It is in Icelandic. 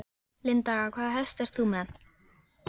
Linda: Hvaða hest ert þú með?